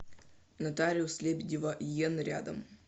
нотариус лебедева ен рядом